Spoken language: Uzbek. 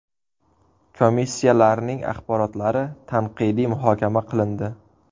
Komissiyalarning axborotlari tanqidiy muhokama qilindi.